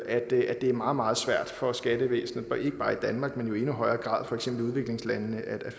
at det er meget meget svært for skattevæsenet ikke bare i danmark men jo i endnu højere grad for eksempel i udviklingslandene at